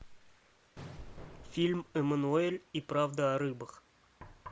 фильм эммануэль и правда о рыбах